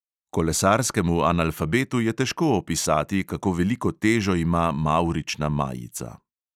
Kolesarskemu analfabetu je težko opisati, kako veliko težo ima mavrična majica.